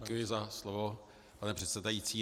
Děkuji za slovo, pane předsedající.